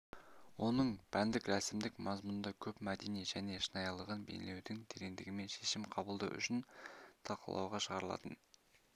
оның пәндік рәсімдік мазмұнында көп мәдени және шынайылығын бейнелеудің тереңдігімен шешім қабылдау үшін талқылауға шығарылатын